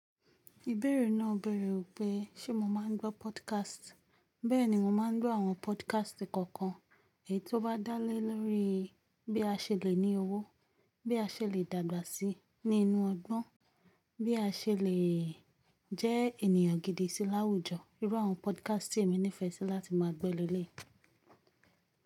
Ìbéèrè náà bèèrè pé ṣe mo máa ń gbọ́ podcast. Bẹ́ẹ̀ni, mo máa ń gbọ́ àwọn podcast kọ̀ọ̀kan èyí tó bá dá lé lórí bí a ṣe lè ní owó, bí a ṣe lè dàgbà sí ní inú ọgbon, bí a ṣe lè jẹ́ enìyàn gidi sí láwùjọ, irú àwọn podcast tí èmi nífẹ̀ẹ́ sí láti máa gbọ́ ní elé.